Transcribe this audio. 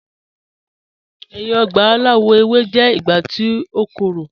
Ẹ̀yin ọ̀gba alawọ̀ ewé jẹ̀ ìgbà tí o kọ́rọ̀.